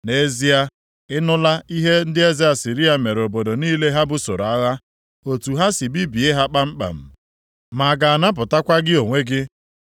Nʼezie a, ị nụla ihe ndị eze Asịrịa mere obodo niile ha busoro agha, otu ha si bibie ha kpamkpam. Ma a ga-anapụtakwa gị onwe gị?